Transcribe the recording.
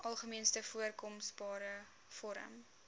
algemeenste voorkombare vorm